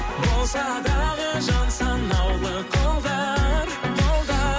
болса дағы жан санаулы қолдар